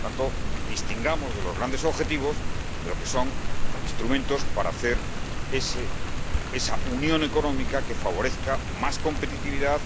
Por tanto, distingamos los grandes objetivos de lo que son instrumentos para hacer esa unión económica que favorezca más competitividad,